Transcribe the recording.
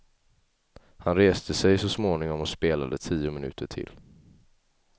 Han reste sig så småningom och spelade tio minuter till.